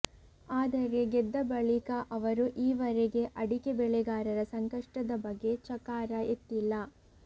ಆದರೆ ಗೆದ್ದ ಬಳಿಕ ಅವರು ಈವರೆಗೆ ಅಡಿಕೆ ಬೆಳೆಗಾರರ ಸಂಕಷ್ಟದ ಬಗ್ಗೆ ಚಕಾರ ಎತ್ತಿಲ್ಲ